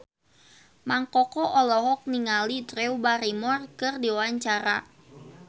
Mang Koko olohok ningali Drew Barrymore keur diwawancara